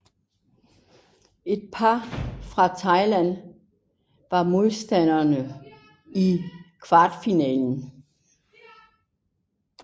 Et par fra Thailand var modstanderne i kvarfinalen